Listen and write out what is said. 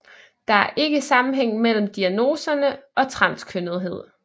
Der er ikke sammenhæng mellem diagnoserne og transkønnethed